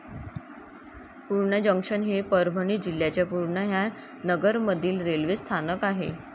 Purna junction हे परभणी जिल्ह्याच्या पुर्णा ह्या नगरमधील रेल्वे स्थानक आहे.